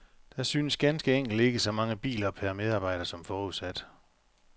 Der synes ganske enkelt ikke så mange biler per medarbejder som forudsat.